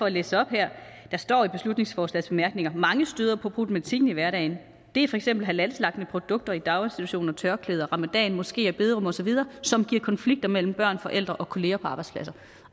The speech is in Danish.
læse op hvad der står i beslutningsforslagets bemærkninger mange støder på problematikken i hverdagen det er for eksempel halalslagtede produkter i daginstitutioner tørklæder ramadan moskeer bederum osv som giver konflikter mellem børn forældre og kollegaer på arbejdspladser